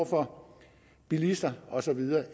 for bilister og så videre